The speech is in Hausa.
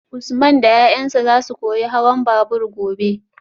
Usman da yayansa zasu koyi hawan babur gobe